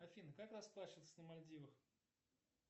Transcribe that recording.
афина как расплачиваться на мальдивах